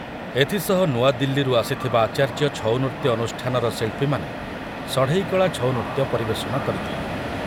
ଏଥିସହ ନୂଆଦିଲ୍ଲୀରୁ ଆସିଥିବା ଆଚାର୍ଯ୍ୟ ଛଉନୃତ୍ୟ ଅନୁଷ୍ଠାନର ଶିଳ୍ପୀମାନେ ଷଢ଼େଇକଳା ଛଉ ନୃତ୍ୟ ପରିବେଷଣ କରିଥିଲେ।